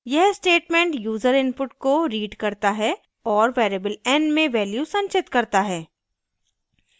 यह statement user input को read करता है और variable n में value संचित करता है